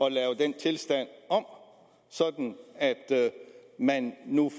at lave den tilstand om sådan at man nu